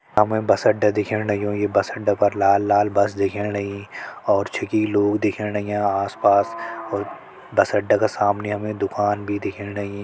हमें बस अड्डा दिखेन नइयों ये बस अड्डे पर लाल-लाल बस दिखेन नई और छेकी लोग दिखेन नहिया आस-पास और बस अड्डा का सामने हमें दुकान भी दिखेन नई।